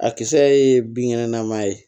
A kisɛ ye binkɛnɛ nama ye